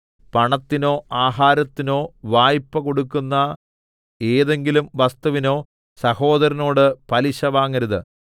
പണത്തിനോ ആഹാരത്തിനോ വായ്പ്പ കൊടുക്കുന്ന ഏതെങ്കിലും വസ്തുവിനോ സഹോദരനോട് പലിശ വാങ്ങരുത്